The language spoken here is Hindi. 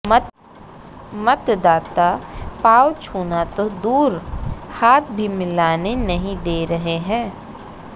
मतदाता पांव छूना तो दूर हाथ भी मिलाने नहीं दे रहे हैं